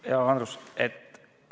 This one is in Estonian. Hea Andrus!